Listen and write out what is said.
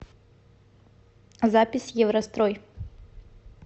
запись еврострой